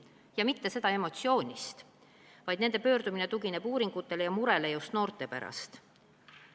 Ja seda mitte emotsiooni ajel, vaid nende pöördumine tugineb uuringutele ja murele noorte pärast.